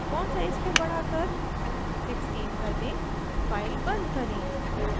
font size को बढ़ाकर 16 कर दें फाइल बंद करें